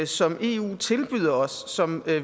som eu tilbyder os som